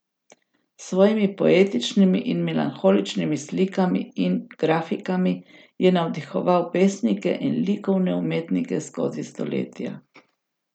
S svojimi poetičnimi in melanholičnimi slikami in grafikami je navdihoval pesnike in likovne umetnike skozi stoletja.